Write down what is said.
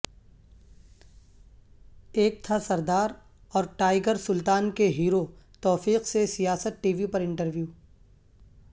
ایک تھا سردار اور ٹائیگر سلطان کے ہیرو توفیق سے سیاست ٹی وی پر انٹرویو